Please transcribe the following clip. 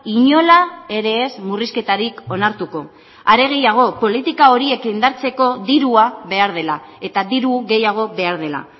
inola ere ez murrizketarik onartuko are gehiago politika horiek indartzeko dirua behar dela eta diru gehiago behar dela